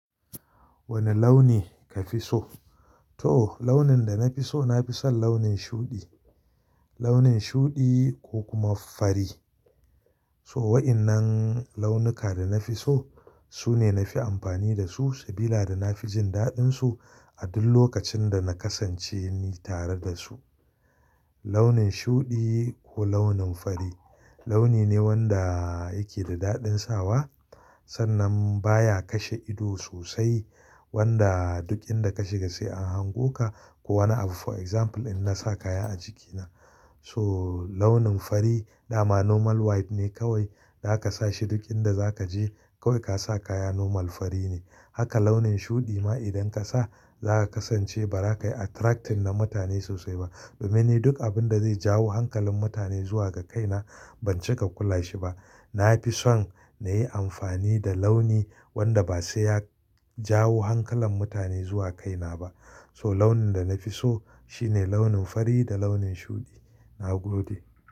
Wane launi kafi so? To launin da na fi so, na fi son launin shuɗi. Launin shuɗi ko kuma fari. So waɗannan launuka da na fi so su ne na fi amfani da su sabida da na fi jin daɗinsu a duk lokacin da na kasance ni tare da su. Launin shuɗi ko launin fari launi ne wanda yake da daɗin sawa sannan baya kashe ido sosai wanda duk inda ka shiga sai an hango ka. Ko wani abu for example in na sa kaya a jikina. So launin fari dama normal white ne kawai da aka sa shi duk inda za ka je kawai ka sa kaya normal fari ne. Haka launin shuɗi ma idan ka sa za ka kasance ba za ka yi attracting na mutane sosai ba. Domin ni duk abin da zai jawo hankalin mutane zuwa ga kaina ban cika kula shi ba. Na fi so na yi amfani da launi wanda ba sai ya jawo hankalin mutane zuwa kaina ba. So launin da na fi so shine launin fari da launin shuɗi. Na gode.